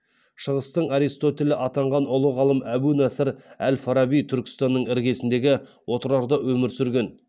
шығыстың аристотелі атанған ұлы ғалым әбу насыр әл фараби түркістанның іргесіндегі отырарда өмір сүрген